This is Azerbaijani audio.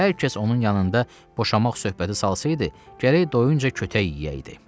Hər kəs onun yanında boşanmaq söhbəti salsaydı, gərək doyuncə kötək yeyəydi.